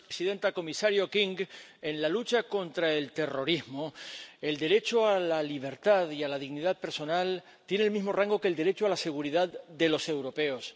Señora presidenta, comisario King, en la lucha contra el terrorismo, el derecho a la libertad y a la dignidad personal tiene el mismo rango que el derecho a la seguridad de los europeos.